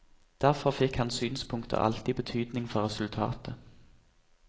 Derfor fikk hans synspunkter alltid betydning for resultatet.